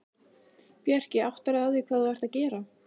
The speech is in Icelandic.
Bjarki, áttarðu á því hvað þú ert að gera?